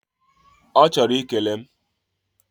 Ochoro ikele m